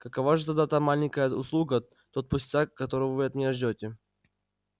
какова же тогда та маленькая услуга тот пустяк который вы от меня ждёте